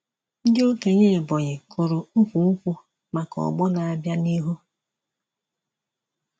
Ndị okenye Ebonyi kụrụ ukwu nkwụ maka ọgbọ na-abịa n'ihu.